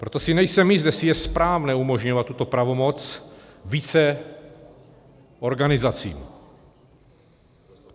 Proto si nejsem jist, jestli je správné umožňovat tuto pravomoc více organizacím.